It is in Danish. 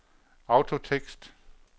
autotekst